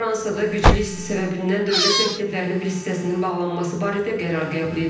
Fransada güclü isti səbəbindən dövlət məktəblərinin bir hissəsinin bağlanması barədə qərar qəbul edilib.